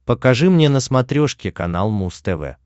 покажи мне на смотрешке канал муз тв